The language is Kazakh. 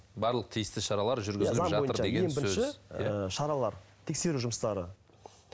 барлық тиісті шаралар ы шаралар тексеру жұмыстары